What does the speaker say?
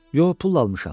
Yox, pulla almışam.